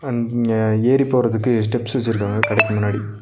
அம் இங்க ஏறி போறதுக்கு ஸ்டெப்ஸ் வெச்சிருக்காங்க. கடைக்கு முன்னாடி.